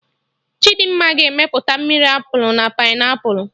Chidimma ga-emepụta mmiri Apụl na Painiapụlụ